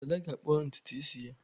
Dada ga-akpa ntutu isi ya.